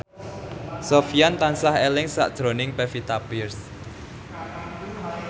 Sofyan tansah eling sakjroning Pevita Pearce